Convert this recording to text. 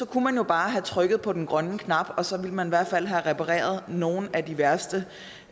kunne jo bare have trykket på den grønne knap og så ville man i hvert fald have repareret nogle af de værste